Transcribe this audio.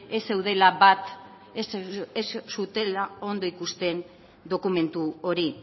ez zutela ondo ikusten dokumentu hori